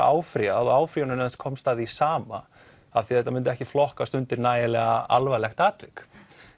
áfrýjað og áfrýjunarnefnd komst að því sama af því þetta myndi ekki flokkast undir nægilega alvarlegt atvik